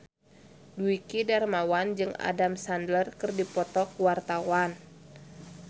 Dwiki Darmawan jeung Adam Sandler keur dipoto ku wartawan